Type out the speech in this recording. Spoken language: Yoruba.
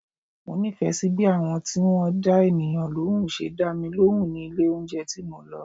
Mo nífẹ̀ẹ́ sí bí àwọn tí wọ́n dá ènìyàn lóhùn ṣe dá mi lóhùn ní ilé oúnjẹ tí mo lọ.